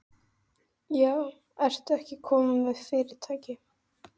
Já, ertu ekki kominn með fyrirtæki?